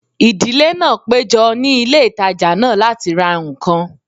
Ìdílé náà péjọ ní ilé ìtajà náà láti ra ǹkan